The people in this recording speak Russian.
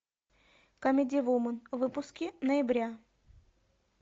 камеди вумен выпуски ноября